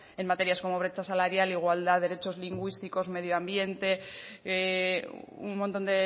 en materias como brecha salarial igualdad derechos lingüísticos medioambiente un montón